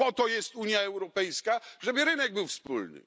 Po to jest Unia Europejska, żeby rynek był wspólny.